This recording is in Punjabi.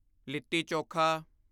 ਲਿੱਤੀ ਚੋਖਾ